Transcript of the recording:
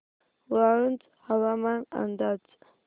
वाळूंज हवामान अंदाज